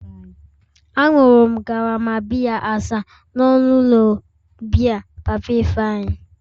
Añụrụ m karama biya asaa n'ọnụ ụlọ biya papa Ifeanyi